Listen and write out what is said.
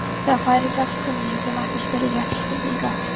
Þegar færi gafst kunni ég ekki að spyrja réttra spurninga.